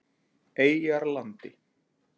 Eyjarlandi